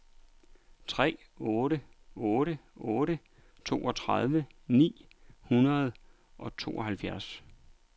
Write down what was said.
tre otte otte otte toogtredive ni hundrede og tooghalvtreds